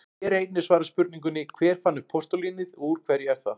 Hér er einnig svarað spurningunni: Hver fann upp postulínið og úr hverju er það?